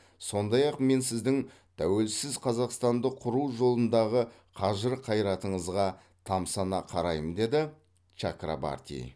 сондай ақ мен сіздің тәуелсіз қазақстанды құру жолындағы қажыр қайратыңызға тамсана қараймын деді чакрабарти